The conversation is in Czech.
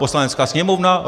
Poslanecká sněmovna?